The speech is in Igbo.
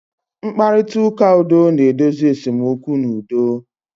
Mkparịta ụka udo na-edozi esemokwu n'udo.